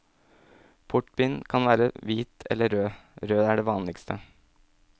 Portvin kan være hvit eller rød, rød er det vanligste.